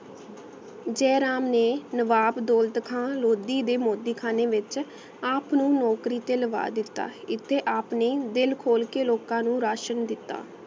ਜੇ ਰਾਮ ਨੇ ਨਵਾਬ ਦੌਲਤ ਖਾਨ ਲੋਧੀ ਦੇ ਮੋਤੀ ਕਹਾਨੀ ਵਿਚ ਆਪ ਨੂ ਨੋਕਰੀ ਤੇ ਲਾਵਾ ਦਿਤਾ ਇਤੀ ਆਪ ਨੇ ਦਿਲ ਖੋਲ ਕੇ ਲੋਕਾ ਨੂ ਰਾਸ਼ਨ ਦਿਤਾ